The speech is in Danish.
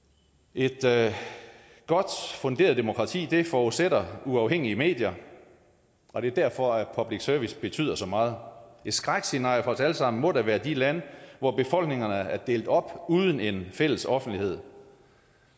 et godt funderet demokrati forudsætter uafhængige medier og det er derfor at public service betyder så meget et skrækscenarie for os alle sammen må da være de lande hvor befolkningerne er delt op uden en fælles offentlighed